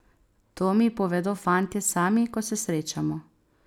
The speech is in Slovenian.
To mi povedo fantje sami, ko se srečamo.